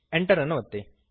Enter ಅನ್ನು ಒತ್ತಿರಿ